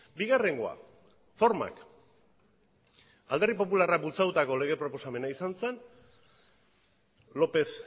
bigarrengoa formak alderdi popularrak bultzatutako lege proposamena izan zen lópez